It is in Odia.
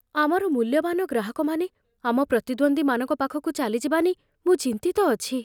ଆମର ମୂଲ୍ୟବାନ ଗ୍ରାହକମାନେ ଆମ ପ୍ରତିଦ୍ୱନ୍ଦ୍ୱୀମାନଙ୍କ ପାଖକୁ ଚାଲିଯିବା ନେଇ ମୁଁ ଚିନ୍ତିତ ଅଛି।